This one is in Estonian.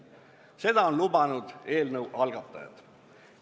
Seda on lubanud eelnõu algatajad.